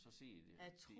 Så sidder de de